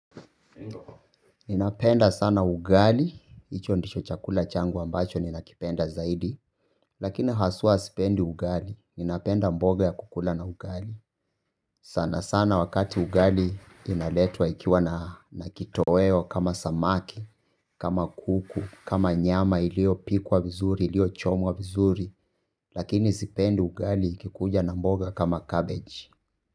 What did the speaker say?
Ninapenda sana ugali, hicho ndicho chakula changu ambacho ninakipenda zaidi. Lakini haswa sipendi ugali, ninapenda mboga ya kukula na ugali. Sana sana wakati ugali inaletwa ikiwa na kitoweo kama samaki, kama kuku, kama nyama iliyopikwa vizuri, iliyochomwa vizuri. Lakini sipendi ugali ikikuja na mboga kama cabbage.